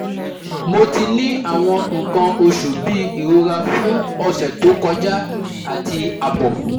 Mo ti ni awon ikan osu bi irora fun ose to koja ati abo